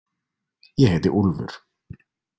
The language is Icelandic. Ég heiti Úlfur.